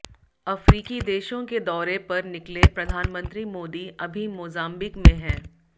अफ़्रीकी देशों के दौरे पर निकले प्रधानमंत्री मोदी अभी मोजाम्बिक में हैं